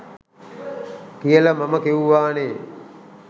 කියල මම කිව්වා නේ.